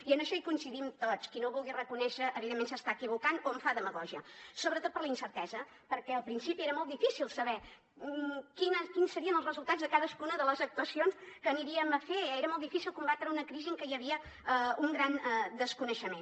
i en això hi coincidim tots i qui no ho vulgui reconèixer evidentment s’està equivocant o en fa demagògia sobretot per la incertesa perquè al principi era molt difícil saber quins serien els resultats de cadascuna de les actuacions que faríem era molt difícil combatre una crisi en què hi havia un gran desconeixement